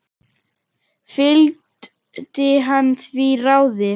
Fylgdi hann því ráði.